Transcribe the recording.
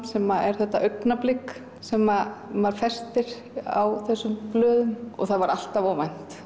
sem er þetta augnablik sem maður festir á þessum blöðum og það var alltaf óvænt